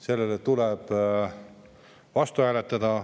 Sellele tuleb vastu hääletada.